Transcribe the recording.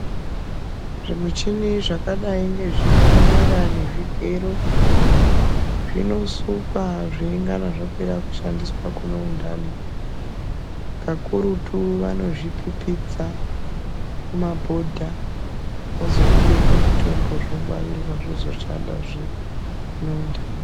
Zvimuchini zvakadai ngezvipanera nezvigero zvinosukwa zveingana zvapera kushandiswa kune undani. Kakurutu vanozvipipidza mumabhodha zvozozvibeke mutombo zvongwarirwa zvozoshandazve kune undani.